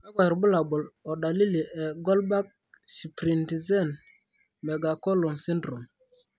kakwa irbulabol o dalili e Goldberg shprintzen megacolon syndrome?